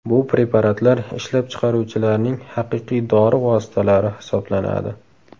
Bu preparatlar ishlab chiqaruvchilarning haqiqiy dori vositalari hisoblanadi.